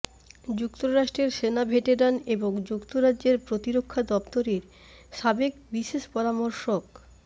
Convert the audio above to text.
যুক্তরাষ্ট্রের সেনা ভেটেরান এবং যুক্তরাজ্যের প্রতিরক্ষা দপ্তরের সাবেক বিশেষ পরামর্শক